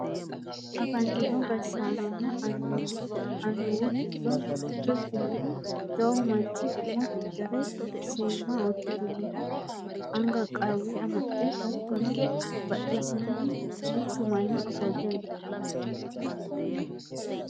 afantino gashshaanonna annuwu giddo mitto ikkinohu jawu manchi umo fixxire seemma uddirinohu anga qawwe amaxxe hattono badhesiinni duuchu manni ofolle no